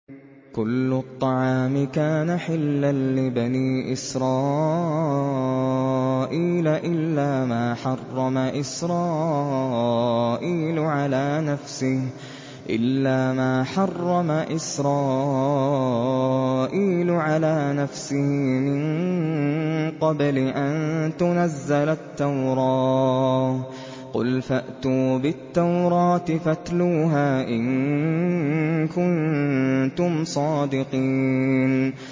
۞ كُلُّ الطَّعَامِ كَانَ حِلًّا لِّبَنِي إِسْرَائِيلَ إِلَّا مَا حَرَّمَ إِسْرَائِيلُ عَلَىٰ نَفْسِهِ مِن قَبْلِ أَن تُنَزَّلَ التَّوْرَاةُ ۗ قُلْ فَأْتُوا بِالتَّوْرَاةِ فَاتْلُوهَا إِن كُنتُمْ صَادِقِينَ